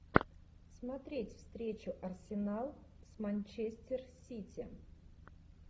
смотреть встречу арсенал с манчестер сити